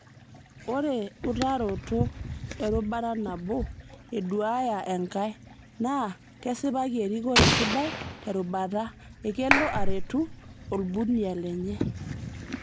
Ore utaroto erubata nabo eduaya enkay naa kesipaki erikore sidai te rubata ekelo aretu olbunia lenye.